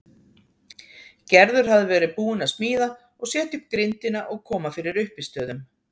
Gerður hafði verið búin að smíða og setja upp grindina og koma fyrir uppistöðum.